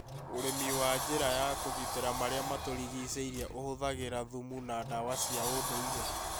Ũrĩmi wa njĩra ya kũgitĩra marĩa matũrigicĩirie ũhũthagĩra thumu na ndawa cia ũndũire .